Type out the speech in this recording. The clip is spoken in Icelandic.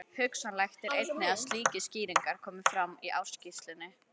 Hugsanlegt er einnig að slíkar skýringar komi fram í ársskýrslunni.